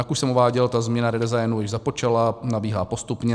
Jak už jsem uváděl, ta změna, redesign, už započala, nabíhá postupně.